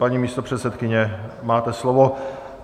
Paní místopředsedkyně, máte slovo.